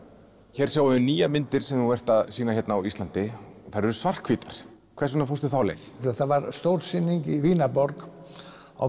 hér sjáum við nýjar myndir sem þú ert að sýna hérna á Íslandi þær eru svarthvítar hvers vegna fórstu þá leið það var stór sýning í Vínarborg á